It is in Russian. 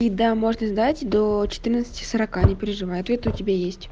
и да можно сдать до четырнадцать сорока не переживай ответы у тебя есть